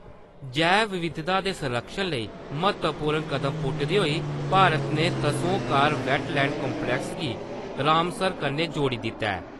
जैव-विविधता दे संरक्षण लेई म्हत्तवपूर्ण कदम पुट्टदे होई भारत ने त्सो कार वैटलैंड कम्प्लैक्स गी रामसर कन्नै जोड़ी दित्ता ऐ।